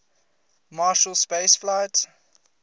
marshall space flight